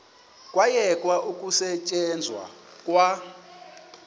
kwayekwa ukusetyenzwa kwa